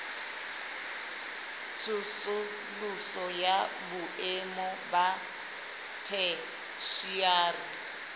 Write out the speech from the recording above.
tsosoloso ya boemo ba theshiari